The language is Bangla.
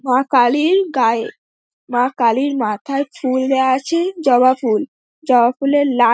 মা কালি -র গায়ে মা কালি -র মাথায় চুল দেওয়া আছে জবা ফুল। জবা ফুল এর লাল।